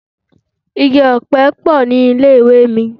Igi-ọpẹ pọ̀ ní ilé-ìwé mi.